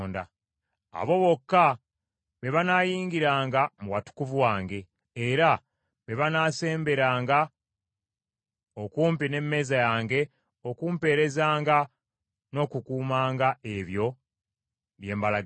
Abo bokka be banaayingiranga mu watukuvu wange, era be banaasemberanga okumpi n’emmeeza yange okumpeerezanga, n’okukuumanga ebyo bye mbalagira.